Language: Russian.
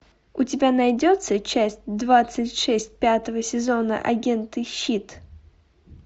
у тебя найдется часть двадцать шесть пятого сезона агенты щит